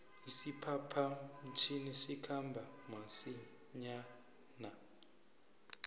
isiphapha mtjhini sikhamba masinjana